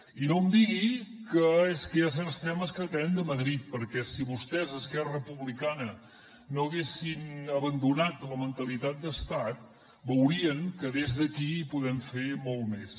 i no em digui que és que hi ha certs temes que depenen de madrid perquè si vostès esquerra republicana no haguessin abandonat la mentalitat d’estat veurien que des d’aquí hi podem fer molt més